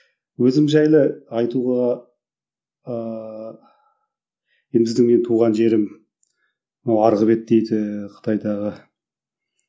өзім жайлы айтуға ыыы енді біздің менің туған жерім мынау арғы бет дейді қытайдағы